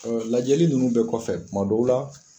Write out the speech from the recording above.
Lajɛli ninnu bɛɛ kɔfɛ tuma dɔw la